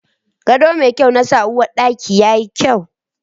Gado mai kyau na sa uwarɗaki yayi kyau